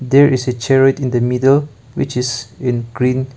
there is a chariot in the middle which is in green.